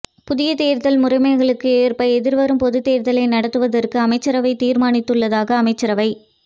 புதிய தேர்தல் முறைமைகளுக்கு ஏற்ப எதிர்வரும் பொதுத் தேர்தலை நடாத்துவதற்கு அமைச்சரவை தீர்மானித்துள்ளதாக அமைச்சரவை